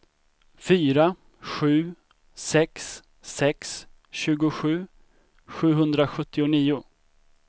fyra sju sex sex tjugosju sjuhundrasjuttionio